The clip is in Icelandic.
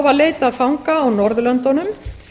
var leitað fanga á norðurlöndunum